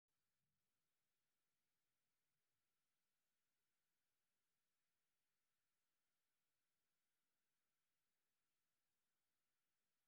Waxbarashadu waxay aasaas u tahay nabad kuwada noolaanshaha .